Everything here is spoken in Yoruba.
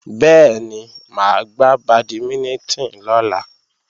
Bẹ́ẹ̀ni, máa gbá bàdímínítìn lọ́la